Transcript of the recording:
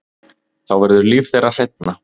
Þá verður líf þeirra hreinna.